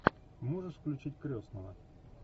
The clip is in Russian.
можешь включить крестного